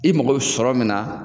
I mako be sɔrɔ min na